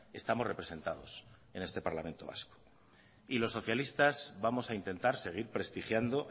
estamos representados en este parlamento vasco y los socialistas vamos a intentar seguir prestigiando